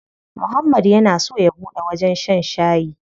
Muhammad yana so ya buɗe wajen shan shayi.